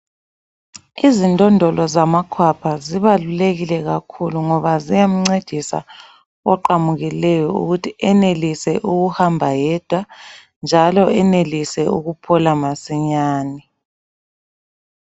Izindondolo zamakhwapha zibalulekile kakhulu ngoba ziyamncedisa oqamukileyo ukuthi enelise ukuhamba yedwa njalo enelise ukuphola masinyane.